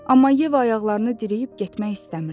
Amma Yeva ayaqlarını dirəyib getmək istəmirdi.